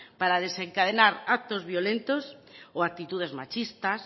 para desencadenar actos violentos o actitudes machistas